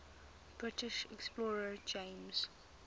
british explorer james